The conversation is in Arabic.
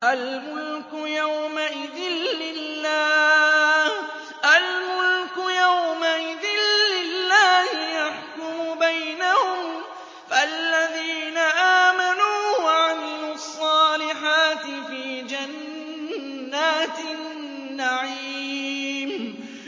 الْمُلْكُ يَوْمَئِذٍ لِّلَّهِ يَحْكُمُ بَيْنَهُمْ ۚ فَالَّذِينَ آمَنُوا وَعَمِلُوا الصَّالِحَاتِ فِي جَنَّاتِ النَّعِيمِ